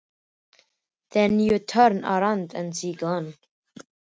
Svo snýr maður við og þá er hún horfin.